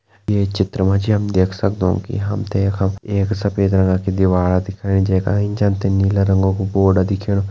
ये चित्र मा जी हम देख सगदौं कि हमतें यखम एक सफेद रंगा कि दीवार दिखेणी जैका एंच हमतें नीला रंग कु बोर्ड दिखेणु।